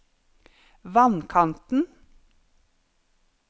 vannkanten